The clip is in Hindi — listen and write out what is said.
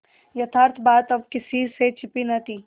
यथार्थ बात अब किसी से छिपी न थी